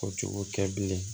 O cogo tɛ bilen